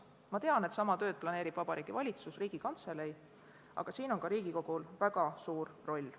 Ma tean, et sama tööd planeerib Vabariigi Valitsus, Riigikantselei, aga siin on ka Riigikogul väga suur roll.